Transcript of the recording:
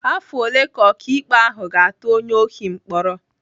Afọ ole ka ọkaikpe ahụ ga-atụ onye ohi mkpọrọ?